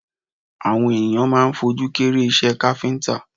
Àwọn ènìyàn máa ń fojú kéré iṣẹ́ káfíńtà